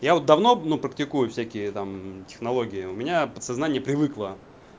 я вот давно ну практикую всякие там технологии у меня подсознание привыкло